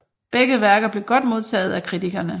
Begge værker blev godt modtaget af kritikerne